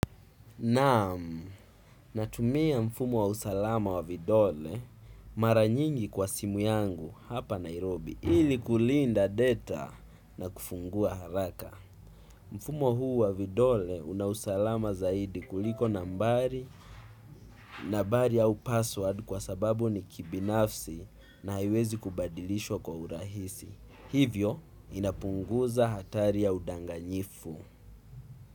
Naam, natumia mfumo wa usalama wa vidole mara nyingi kwa simu yangu hapa Nairobi ili kulinda data na kufungua haraka. Mfumo huu wa vidole una usalama zaidi kuliko nambari, nambari au password kwa sababu ni kibinafsi na haiwezi kubadilishwa kwa urahisi. Hivyo inapunguza hatari ya udanganyifu.